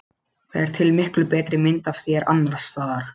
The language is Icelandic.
Það er til miklu betri mynd af þér annars staðar.